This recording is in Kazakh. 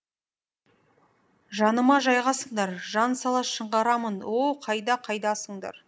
жаныма жайғасыңдар жан сала шыңғырамын о қайда қайдасыңдар